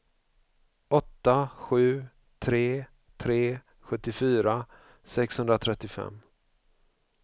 åtta sju tre tre sjuttiofyra sexhundratrettiofem